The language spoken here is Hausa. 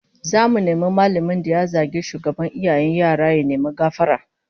Zamu nemi mallamin da ya zagi shugaban iyayen yara ya nemi gafara